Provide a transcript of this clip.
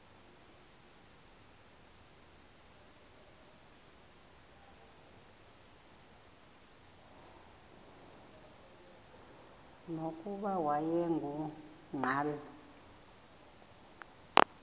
nokuba wayengu nqal